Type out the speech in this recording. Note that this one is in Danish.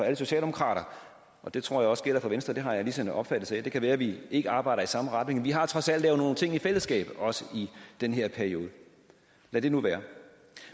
alle socialdemokrater og det tror jeg også gælder for venstre det har jeg ligesom en opfattelse af det kan være vi ikke arbejder i samme retning men vi har trods alt lavet nogle ting i fællesskab også i den her periode lad det nu være